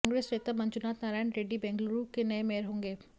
कांग्रेस नेता मंजुनाथ नारायण रेड्डी बेंगलुरु के नए मेयर होंगे